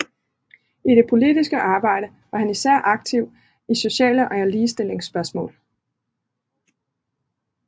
I det politiske arbejde var han især aktiv i sociale og ligestillingsspørgsmål